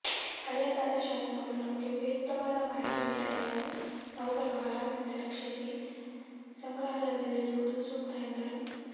ಹಳೆಯದಾದ ಶಾಸನಗಳು ನಮಗೆ ಉಪಯುಕ್ತವಾದ ಮಾಹಿತಿ ನೀಡಬಲ್ಲವು ಅವುಗಳು ಹಾಳಾಗದಂತೆ ರಕ್ಷಿಸಿ ಸಂಗ್ರಹಾಲಯದಲ್ಲಿಡುವುದು ಸೂಕ್ತ ಎಂದರು